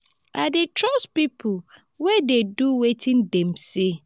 i dey trust pipo wey dey do wetin dem say.